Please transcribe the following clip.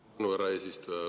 Suur tänu, härra eesistuja!